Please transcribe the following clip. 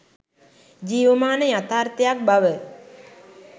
ජීවමාන යථාර්ථයක් බව